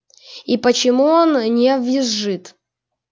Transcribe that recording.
и почему он не визжит